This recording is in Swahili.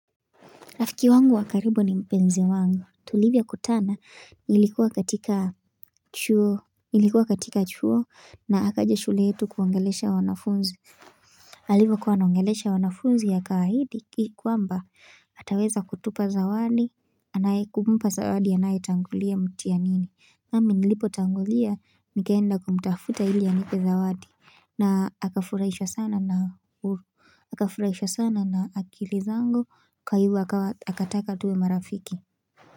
Rafiki wangu wakaribu ni mpenzi wangu. Tulivyo kutana ilikuwa katika chuo na akaja shule yetu kuongelesha wanafunzi. Alivyo kuwa anaongelesha wanafunzi akahidi kwamba ataweza kutupa zawadi, anaye kuumpa zawadi, anaye tangulia mtianini. Nami nilipo tangulia, nikeenda kumtafuta ili anipe zawadi. Na haka furaishwa sana na akafuraisha sana na akili zangu kwa hivo akataka tuwe marafiki.